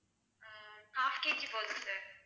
உம் half KG போதும் sir